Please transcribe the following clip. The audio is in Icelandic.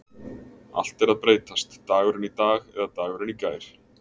Allt er að breytast Dagurinn í dag eða dagurinn í gær?